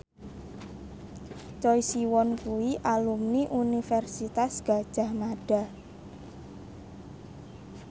Choi Siwon kuwi alumni Universitas Gadjah Mada